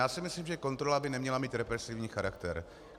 Já si myslím, že kontrola by neměla mít represivní charakter.